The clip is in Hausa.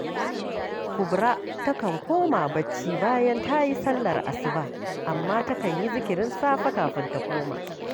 Kubura takan koma barci bayan ta yi sallar asuba, amma takan yi zikirin safe kafin ta koma